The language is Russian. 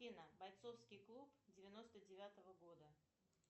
афина бойцовский клуб девяносто девятого года